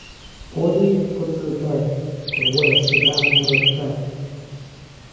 Kwonyi kotesetai korwae sudan murot tai